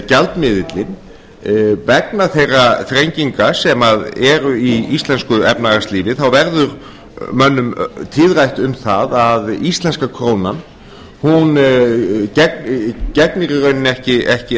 gjaldmiðillinn vegna þeirra þrenginga sem eru í íslensku efnahagslífi verður mönnum tíðrætt um að íslenska krónan gegnir í rauninni ekki